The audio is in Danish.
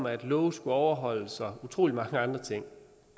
at love skulle overholdes og utrolig mange andre ting